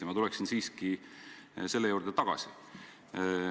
Ja ma tuleksin siiski selle juurde tagasi.